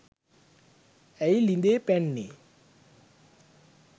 ඇයි ළිඳේ පැන්නේ